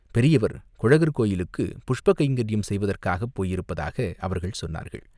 பெரியவர் குழகர் கோயிலுக்குப் புஷ்ப கைங்கரியம் செய்வதற்காகப் போயிருப்பதாக அவர்கள் சொன்னார்கள்.